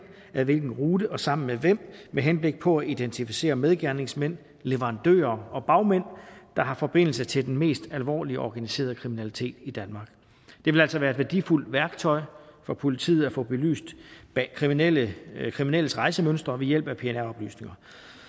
ad hvilken rute og sammen med hvem med henblik på at identificere medgerningsmænd leverandører og bagmænd der har forbindelse til den mest alvorlige organiserede kriminalitet i danmark det vil altså være et værdifuldt værktøj for politiet at få belyst kriminelles kriminelles rejsemønstre ved hjælp af pnr oplysninger